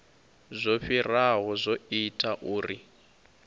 zwo fhiraho zwo ita uri